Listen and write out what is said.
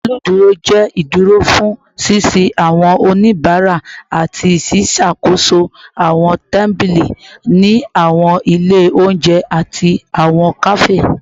Awọn oluduro jẹ iduro fun sisin awọn onibara ati ṣiṣakoso awọn tabili ni awọn ile ounjẹ ati awọn kafe